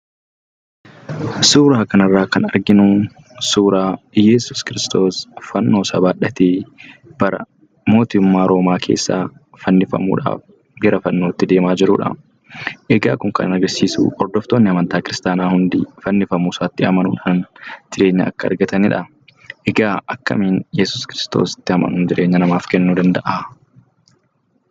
Suuraa kanarraa kan arginu, suuraa Iyyasuus Kiristoos fannoosaa baadhatee bara mootummaa Roomaa keessa fannifamuudhaaf gara fannootti deemaa jirudha. Egaa kun kan agarsiisu hordoftoonni amantaa kiristaanaa hundi fannifamuu isaatti amanuudhaan, jireenya akka argataniidha. Akkamiin Yesuus Kiristoositti amanuun jireenya namaaf kennuu danda'aa?